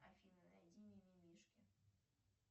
афина найди ми ми мишки